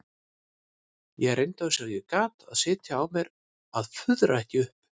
Ég reyndi eins og ég gat að sitja á mér að fuðra ekki upp.